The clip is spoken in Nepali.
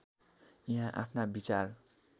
यहाँ आफ्ना विचार